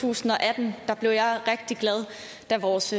tusind og atten blev jeg rigtig glad da vores